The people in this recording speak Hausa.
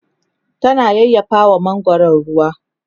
tana yayyafawa mangwaron ruwa